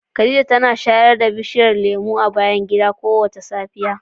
Khadija tana shayar da bishiyar lemu mai ratsa jiki a bayan gida kowace safiya.